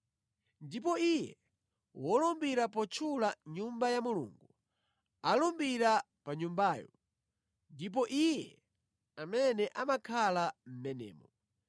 Ndipo iye wolumbira potchula Nyumba ya Mulungu alumbira pa Nyumbayo ndi pa Iye amene amakhala mʼmenemo.